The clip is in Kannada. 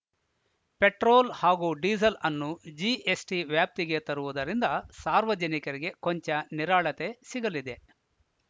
ಪೆಟ್ರೋಲ್‌ ಹಾಗೂ ಡೀಸೆಲ್‌ ಅನ್ನು ಜಿಎಸ್‌ಟಿ ವ್ಯಾಪ್ತಿಗೆ ತರುವುದರಿಂದ ಸಾರ್ವಜನಿಕರಿಗೆ ಕೊಂಚ ನಿರಾಳತೆ ಸಿಗಲಿದೆ